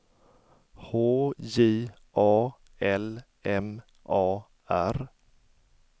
H J A L M A R